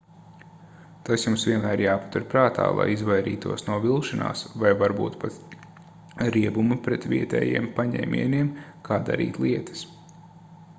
tas jums vienmēr jāpatur prātā lai izvairītos no vilšanās vai varbūt pat riebuma pret vietējiem paņēmieniem kā darīt lietas